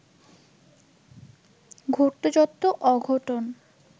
ঘটত যত অঘটন